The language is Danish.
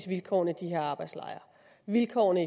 vilkårene i de her arbejdslejre vilkårene